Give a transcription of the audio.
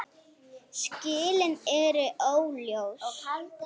Skilin eru óljós.